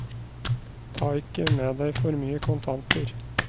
Ta ikke med deg for mye kontanter.